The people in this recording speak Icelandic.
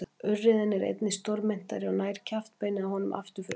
Urriðinn er einnig stórmynntari og nær kjaftbeinið á honum aftur fyrir augun.